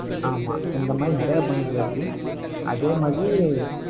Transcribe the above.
ஆமா. இந்த மாதிரி, நிறைய பண்ணியிருக்காப்டி அதே மாதிரி,